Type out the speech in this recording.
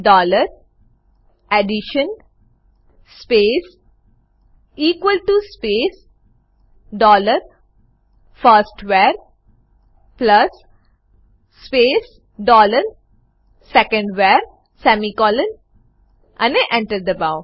dollar addition space equal to space dollar first var plus space dollar second var semicolonઅને Enter દબાઓ